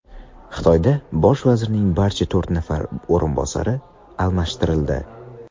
Xitoyda bosh vazirning barcha to‘rt nafar o‘rinbosari almashtirildi.